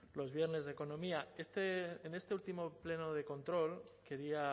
los viernes de economía en este último pleno de control quería